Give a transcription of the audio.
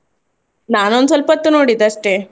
ನಾನೊಂದು ಸ್ವಲ್ಪ ಹೊತ್ತು ನೋಡಿದ್ದು ಅಷ್ಟೇ.